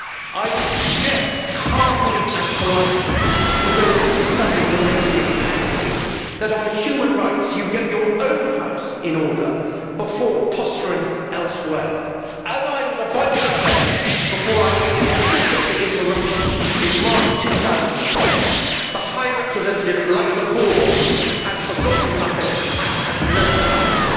I would suggest, calmly and politely although this is a subject that makes me angry that on human rights you get your own house in order before posturing elsewhere. As I was about to say before I was inappropriately interrupted in March 2010, the High Representative, like the Bourbons, has forgotten nothing and has learned nothing.